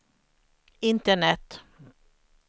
internet